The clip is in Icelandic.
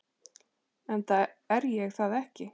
Enda er ég það ekki.